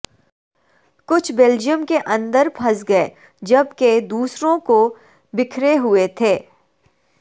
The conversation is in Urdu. کچھ بیلجیم کے اندر پھنس گئے جبکہ دوسروں کو بکھرے ہوئے تھے